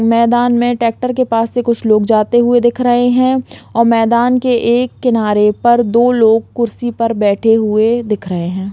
मैदान में ट्रैक्टर के पास से कुछ लोग जाते हुए दिख रहें हैं और मैदान के एक किनारे पर दो लोग कुर्सी पर बैठे हुए दिख रहें हैं।